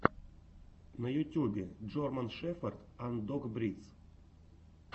на ютюбе джорман шеферд анд дог бридс